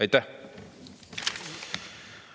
Aitäh!